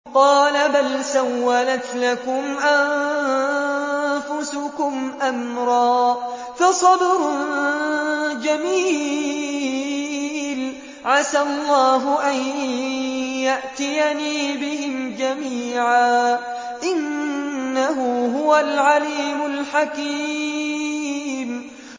قَالَ بَلْ سَوَّلَتْ لَكُمْ أَنفُسُكُمْ أَمْرًا ۖ فَصَبْرٌ جَمِيلٌ ۖ عَسَى اللَّهُ أَن يَأْتِيَنِي بِهِمْ جَمِيعًا ۚ إِنَّهُ هُوَ الْعَلِيمُ الْحَكِيمُ